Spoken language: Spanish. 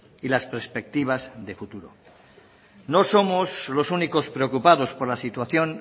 y las perspectivas de futuro no somos los únicos preocupados por la situación